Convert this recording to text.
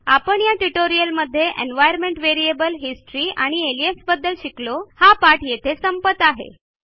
आपण या ट्युटोरियलमध्ये एन्व्हायर्नमेंट व्हेरिएबल हिस्टरी आणि अलियास याबद्दल शिकलो हा पाठ येथे संपत आहे